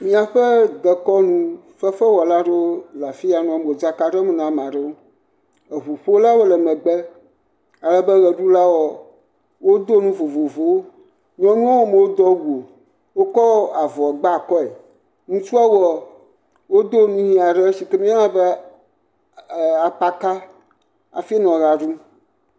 Míaƒe dekɔnu fefewɔla aɖewo le afi ya nɔ modzaka ɖem na amewo, eŋuƒolawo le megbe, alebe ʋeɖulawoa, wodo nu vovovowo, nyɔnuawo medo awu o, wokɔ avɔ gba akɔe, ŋutsuawo wodo nu yi aɖe yi woyɔna be apaka hafi nɔ ʋea ɖum.